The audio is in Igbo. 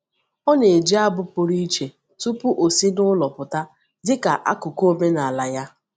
Ọ na-eji abụ pụrụ iche tupu ọ si n’ụlọ pụta dị ka akụkụ omenala ya.